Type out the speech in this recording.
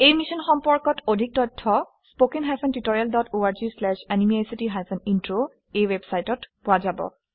এই সম্পৰ্কত অধিক তথ্য httpspoken tutorialorgNMEICT Intro ৱেবচাইটত পোৱা যাব